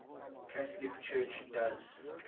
catholic church does